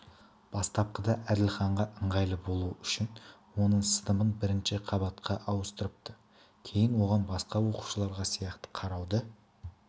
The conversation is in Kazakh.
бастапқыда әділханға ыңғайлы болуы үшін оның сыныбын бірінші қабатқа ауыстырыпты кейін оған басқа оқушыларға сияқты қарауды